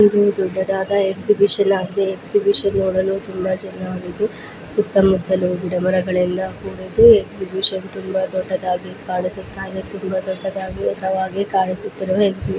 ಇದು ದೊಡ್ಡದಾದ್ ಎಕ್ಸಿಬಿಶನ್ ಆಗಿದೆ ಎಕ್ಸಿಬಿಶನ್ ನೋಡಲು ತುಮಬಾ ಜನ ಇದ್ದು ಸುತ್ತಮುತ್ತಲು ಗಿಡಮರಗಳಿಂದ ಕೂಡಿದ್ದು ಎಕ್ಸಿಬಿಶನ್ ತುಂಬಾ ದೊಡ್ಡದಾಗಿ ಕಾಣಿಸುತ್ತ ಇದೆ ತುಂಬಾ ದೊಡ್ಡದಾಗಿ ಉಧವಾಗಿ ಕಾಣಿಸುತ್ತ ಇದೆ.